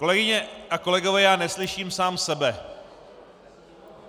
Kolegyně a kolegové, já neslyším sám sebe.